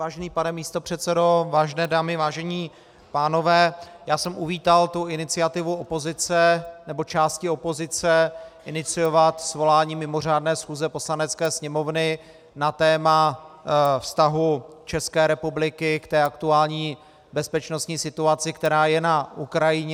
Vážený pane místopředsedo, vážené dámy, vážení pánové, já jsem uvítal tu iniciativu opozice, nebo části opozice, iniciovat svolání mimořádné schůze Poslanecké sněmovny na téma vztahu České republiky k té aktuální bezpečnostní situaci, která je na Ukrajině.